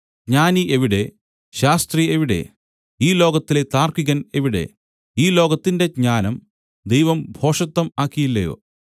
ജ്ഞാനി എവിടെ ശാസ്ത്രി എവിടെ ഈ ലോകത്തിലെ താർക്കികൻ എവിടെ ഈ ലോകത്തിന്റെ ജ്ഞാനം ദൈവം ഭോഷത്തം ആക്കിയില്ലയോ